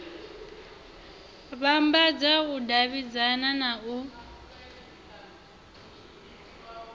vhambadza u davhidzana na u